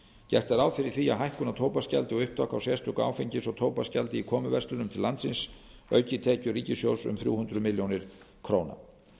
gert er ráð fyrir því að hækkun á tóbaksgjaldi og upptaka á sérstöku áfengis og tóbaksgjaldi í komuverslunum til landsins auki tekjur ríkissjóðs um þrjú hundruð milljóna króna